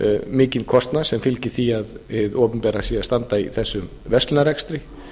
mikinn kostnað sem fylgir því að hið opinbera sé að standa í þessum verslunarrekstri